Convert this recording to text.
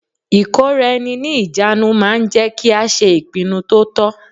Ìkóraẹni ní ìjánu ma ń jẹ́ kí a ṣe ìpinnu to tọ́.